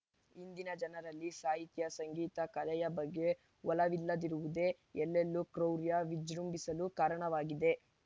ಇಂದಿನ ಜನರಲ್ಲಿ ಸಾಹಿತ್ಯ ಸಂಗೀತ ಕಲೆಯ ಬಗ್ಗೆ ಒಲವಿಲ್ಲದಿರುವುದೇ ಎಲ್ಲೆಲ್ಲೂ ಕ್ರೌರ್ಯ ವಿಜೃಂಭಿಸಲು ಕಾರಣವಾಗಿದೆ